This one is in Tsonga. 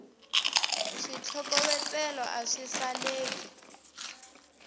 switlokovetselo a swi saleki